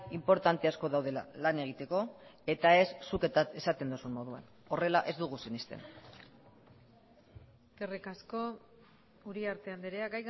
inportante asko daudela lan egiteko eta ez zuk esaten duzun moduan horrela ez dugu sinesten eskerrik asko uriarte andrea